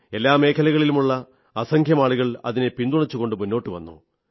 എല്ലാ മേഖലകളിലുമുള്ള അസംഖ്യം ആളുകൾ അതിനെ പിന്തുണച്ചുകൊണ്ട് മുന്നോട്ടു വന്നു